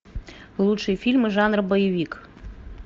лучшие фильмы жанра боевик